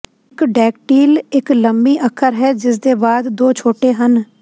ਇਕ ਡੈਕਟੀਲ ਇੱਕ ਲੰਮੀ ਅੱਖਰ ਹੈ ਜਿਸਦੇ ਬਾਅਦ ਦੋ ਛੋਟੇ ਹਨ